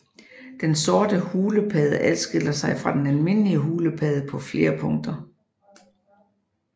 Den sorte hulepadde adskiller sig fra den almindelige hulepadde på flere punkter